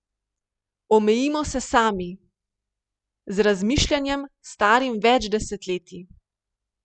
Omejimo se sami, z razmišljanjem starim več desetletij.